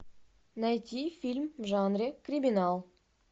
найти фильм в жанре криминал